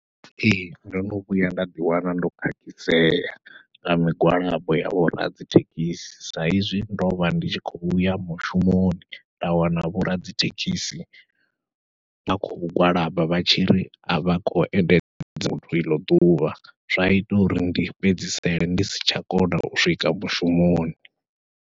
Ee ndo no vhuya nda ḓiwana ndo khakhisea nga migwalabo ya vhoradzithekhisi, sa izwi ndovha ndi tshi khou uya mushumoni nda wana vhoradzithekhisi vha khou gwalaba vha tshi ri avha khou endedza ḽeneḽo ḓuvha, zwa ita uri ndi fhedzisele ndi si tsha kona u swika mushumoni.